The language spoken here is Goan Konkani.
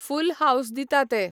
फूल हावस दिता ते.